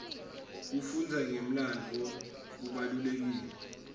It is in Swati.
kufundza ngemlandvo kubalulekile